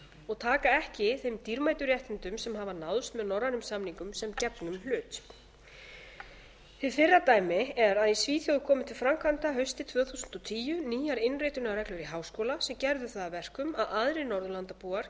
og taka ekki þeim dýrmætu réttindum sem hafa náðst með norrænum samningum sem gefnum hlut hið fyrra dæmi er að í svíþjóð komu til framkvæmda haustið tvö þúsund og tíu nýjar innritunarreglur í háskóla sem gerðu það að verkum að aðrir norðurlandabúar